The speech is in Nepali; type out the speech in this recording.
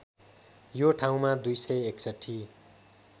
यो ठाउँमा २६१